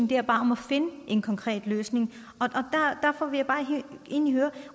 gælder bare om at finde en konkret løsning derfor vil jeg egentlig høre